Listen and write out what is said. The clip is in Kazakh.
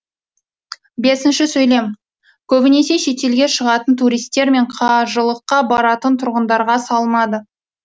көбінесе шетелге шығатын туристер мен қажылыққа баратын тұрғындарға салынады